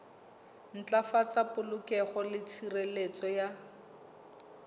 ntlafatsa polokeho le tshireletso ya